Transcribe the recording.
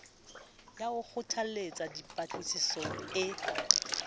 ya ho kgothalletsa dipatlisiso e